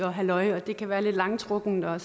og halløj og det kan være lidt langtrukkent og